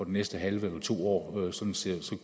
næste halve eller to år